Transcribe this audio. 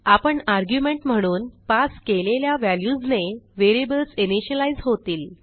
आपण आर्ग्युमेंट म्हणून पास केलेल्या व्हॅल्यूजने व्हेरिएबल्स इनिशियलाईज होतील